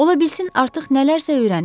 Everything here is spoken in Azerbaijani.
Ola bilsin artıq nələrsə öyrənib.